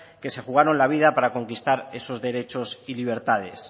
que se jugaron la vida para conquistar esos derechos y libertades